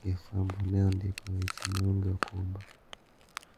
gi fwambo ne ondiko weche maonge okumba.